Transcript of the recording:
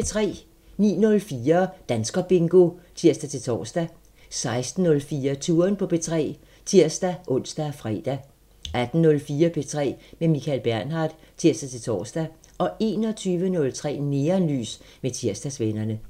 09:04: Danskerbingo (tir-tor) 16:04: Touren på P3 (tir-ons og fre) 18:04: P3 med Michael Bernhard (tir-tor) 21:03: Neonlys med Tirsdagsvennerne